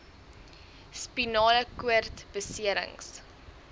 spinale koord beserings